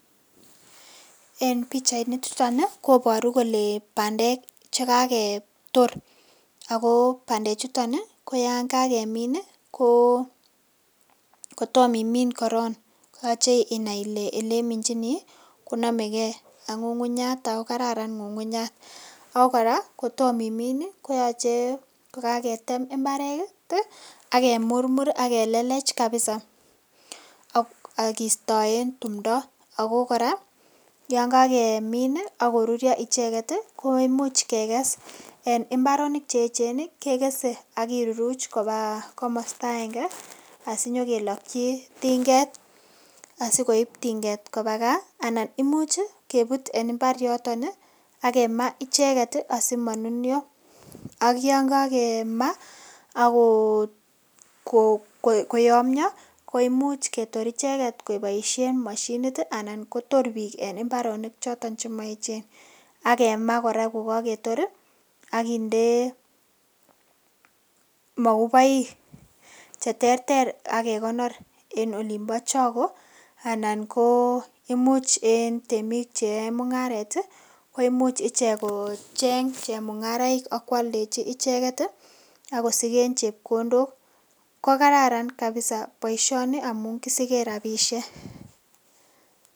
En pichainichuto koboru kole bandek che kagetor ago bandechuto ko yan kagemin ko kotom imin korong koyoche inai ile ele iminchini konomegei ak ng'ung'unyat ago kararan ng'ung'unyat. Ago kora koto imin koyoche ko kagetem mbaret ak kemurmur ak kelelech kapisa ak kistoen tumdo. Ago kora yan kagemin ak koruryo icheget ko imuch keges, en mbaronik che eechen kegese ak kiruruch koba komosta agenge asinyokeloki tinget asikoib tinget koba gaa. Anan imuch kebut en mbar yoto ak kemaa icheget asimanunyo ak yon kagemaa ak koyomnyo koimuch ketor icheget keboishen moshinit anan kotor biik en mbaronik choton chemoeechen. Ak kemaa kor ko kagetor ak kinde moguboik che terter ak ke konor en olimbo chogo anan ko imuch en temik cheyoe mung'aret koimuch ichek kocheng chemung'araik ak koaldechi icheget ak kosiken chepkondok. Ko kararan kapisa boisioni amun kisigen rabishek.